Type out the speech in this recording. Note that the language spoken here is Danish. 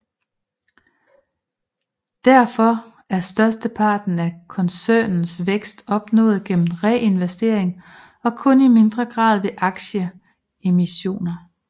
Derfor er størsteparten af koncernens vækst opnået gennem reinvestering og kun i mindre grad ved aktieemissioner